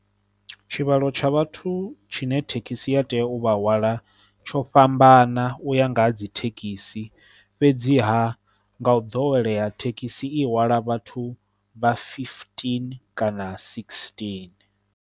Tshivhalo tsha vhathu tshine thekhisi ya tea u vha hwala tsho fhambana u ya nga ha dzi thekhisi fhedziha nga u ḓowelea thekhisi i hwala vhathu vha fifitini kana sigisitini.